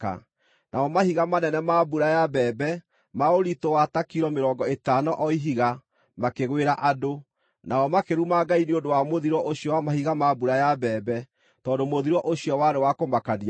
Namo mahiga manene ma mbura ya mbembe, ma ũritũ wa ta kilo mĩrongo ĩtano o ihiga, makĩgwĩra andũ. Nao makĩruma Ngai nĩ ũndũ wa mũthiro ũcio wa mahiga ma mbura ya mbembe, tondũ mũthiro ũcio warĩ wa kũmakania mũno.